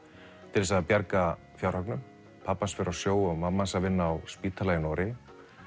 til að bjarga fjárhagnum pabbi hans fer á sjó og mamma hans að vinna á spítala í Noregi